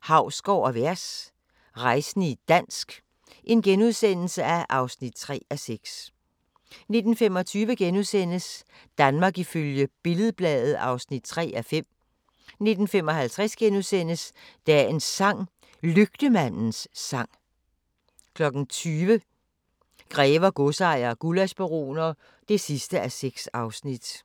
Hausgaard & Vers – rejsende i dansk (3:6)* 19:25: Danmark ifølge Billed-Bladet (3:5)* 19:55: Dagens sang: Lygtemandens sang * 20:00: Grever, godsejere og gullaschbaroner (6:6)